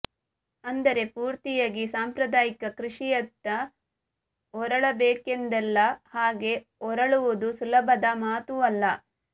ಅಂದರೆ ಪೂರ್ತಿಯಾಗಿ ಸಾಂಪ್ರದಾಯಿಕ ಕೃಷಿಯತ್ತ ಹೊರಳಬೇಕೆಂದಲ್ಲ ಹಾಗೆ ಹೊರಳುವುದು ಸುಲಭದ ಮಾತೂ ಅಲ್ಲ